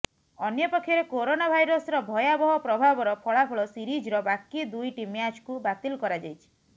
ଅନ୍ୟପକ୍ଷରେ କରୋନା ଭାଇରସର ଭୟାବହ ପ୍ରଭାବର ଫଳାଫଳ ସିରିଜର ବାକି ଦୁଇଟି ମ୍ୟାଚ୍କୁ ବାତିଲ କରାଯାଇଛି